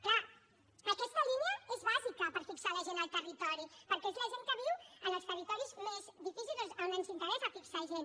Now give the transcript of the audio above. clar aquesta línia és bàsica per fixar la gent al territori perquè és la gent que viu en els territoris més difícils on ens interessa fixar gent